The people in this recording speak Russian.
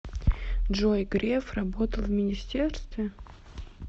джой греф работал в министерстве